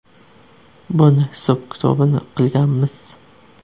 Buni hisob-kitobini qilganmiz.